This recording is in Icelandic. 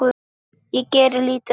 Ég geri lítið af því.